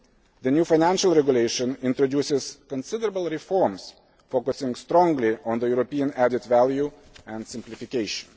The new Financial Regulation introduces considerable reforms, focusing strongly on European added value and simplification.